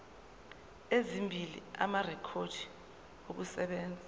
ezimbili amarekhodi okusebenza